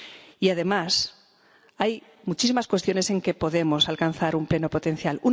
Y, además, hay muchísimas cuestiones en las que podemos alcanzar un pleno potencial.